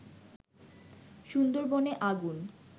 সুন্দরবনে আগুন